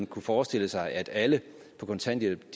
kunne forestille sig at alle på kontanthjælp